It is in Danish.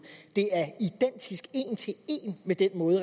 det er identisk én til én med den måde